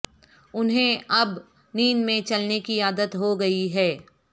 انہیں اب نیند میں چلنے کی عادت ہو گئی ہے